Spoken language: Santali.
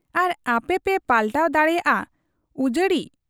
ᱟᱨ ᱟᱯᱮᱯᱮ ᱯᱟᱞᱴᱟᱣ ᱫᱟᱲᱮᱭᱟᱫ ᱟ ᱩᱡᱟᱹᱲᱤᱡ ᱾